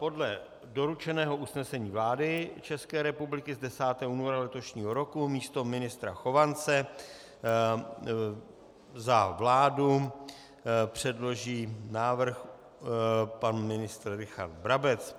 Podle doručeného usnesení vlády České republiky z 10. února letošního roku místo ministra Chovance za vládu předloží návrh pan ministr Richard Brabec.